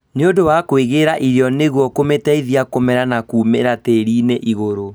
nĩũndũ wa kwĩigĩra irio nĩguo kũmũteithia kũmera na kũmĩra tĩriinĩ igũrũ